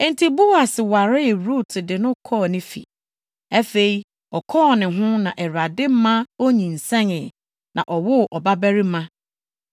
Enti Boas waree Rut de no kɔɔ ne fi. Afei, ɔkɔɔ ne ho na Awurade ma onyinsɛnee na ɔwoo ɔbabarima.